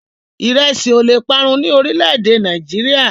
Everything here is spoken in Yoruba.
Ìrẹsí ò leè parun ní orílẹ̀-èdè Nàìjíríà.